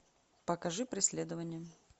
покажи преследование